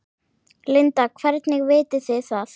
Linda: Hvernig vitið þið það?